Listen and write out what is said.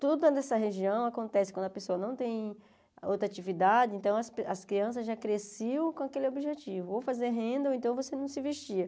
Tudo nessa região acontece quando a pessoa não tem outra atividade, então as cri as crianças já cresceram com aquele objetivo, ou fazer renda, ou então você não se vestia.